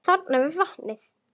Þarna við vatnið.